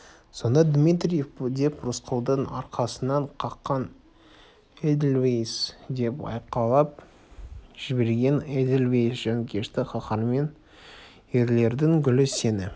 сонда дмитриев деп рысқұлдың арқасынан қаққан эдельвейс деп айқайлап жіберген эдельвейс жанкешті қаһармен ерлердің гүлі сені